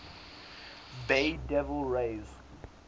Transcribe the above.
bay devil rays